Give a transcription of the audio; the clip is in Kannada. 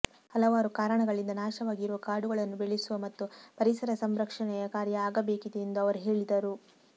ಹಲವಾರು ಕಾರಣಗಳಿಂದ ನಾಶವಾಗಿರುವ ಕಾಡುಗಳನ್ನು ಬೆಳೆಸುವ ಮತ್ತು ಪರಿಸರ ಸಂರಕ್ಷಣೆಯ ಕಾರ್ಯ ಆಗಬೇಕಾಗಿದೆ ಎಂದು ಅವರು ಹೇಳಿದರು